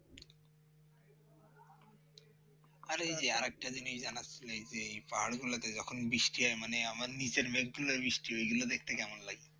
আরে আরেকটা জিনিস জানা ছিল এই পাহাড়গুলোতে যখন বৃষ্টি হয় মানে আমার নিচের মেঘগুলো বৃষ্টি হয় ওইগুলো দেখতে কেমন লাগে